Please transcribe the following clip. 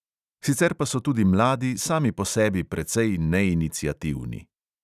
Sicer pa so tudi mladi sami po sebi precej neiniciativni.